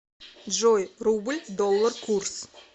джой рубль доллар курс